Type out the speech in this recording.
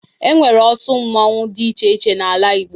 Enwere otu mmanwu dị iche iche n'ala Igbo